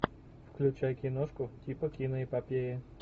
включай киношку типа киноэпопеи